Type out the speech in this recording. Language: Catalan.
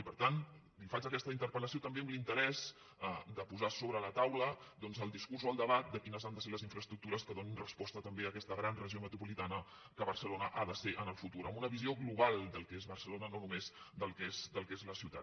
i per tant li faig aquesta interpel·lació també amb l’interès de posar sobre la taula doncs el discurs o el debat de quines han de ser les infraestructures que donin resposta també a aquesta gran regió metropolitana que barcelona ha de ser en el futur amb una visió global del que és barcelona no només del que és la ciutat